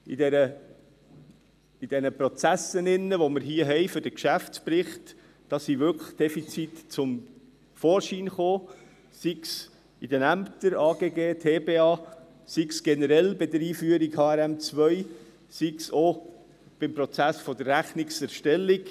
In diesen Prozessen, die wir hier für den Geschäftsbericht haben, sind wirklich Defizite zum Vorschein gekommen, sei es in den Ämtern AGG und Tiefbauamt (TBA), sei es generell bei der Einführung von HRM2, sei es auch beim Prozess der Rechnungserstellung.